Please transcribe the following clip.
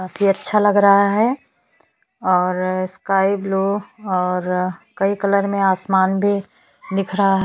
काफी अच्छा लग रहा है और स्काई ब्लू और कई कलर में आसमान भी दिख रहा--